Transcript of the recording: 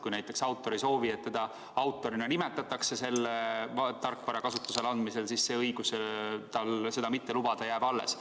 Kui näiteks autor ei soovi, et teda selle tarkvara kasutusele andmisel autorina nimetatakse, siis õigus seda mitte lubada jääb talle alles.